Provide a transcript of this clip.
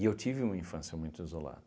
eu tive uma infância muito isolada.